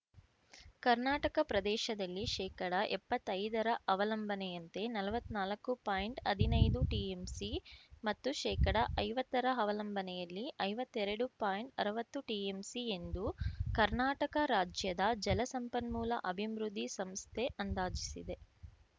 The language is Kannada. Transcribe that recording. ಕರ್ನಾಟಕ ಪ್ರದೇಶದಲ್ಲಿ ಶೇಕಡಎಪ್ಪತ್ತೈದರ ಅವಲಂಬನೆಯಂತೆ ನಲ್ವತ್ನಾಲ್ಕು ಪಾಯಿಂಟ್ಹದಿನೈದು ಟಿಎಂಸಿ ಮತ್ತು ಶೇಕಡಐವತ್ತರ ಅವಲಂಬನೆಯಲ್ಲಿ ಐವತ್ತೆರಡು ಪಾಯಿಂಟ್ಅರ್ವತ್ತು ಟಿಎಂಸಿ ಎಂದು ಕರ್ನಾಟಕ ರಾಜ್ಯದ ಜಲ ಸಂಪನ್ಮೂಲ ಅಭಿಬೃಂದ್ಧಿ ಸಂಸ್ಥೆ ಅಂದಾಜಿಸಿದೆ